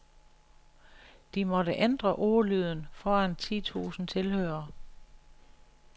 De måtte ændre ordlyden foran ti tusind tilhørere.